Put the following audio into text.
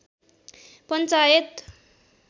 panchayat